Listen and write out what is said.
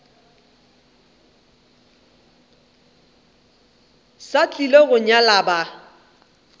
sa tlile go nyala ba